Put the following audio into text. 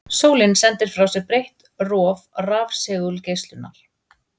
Sólin sendir frá sér breitt róf rafsegulgeislunar.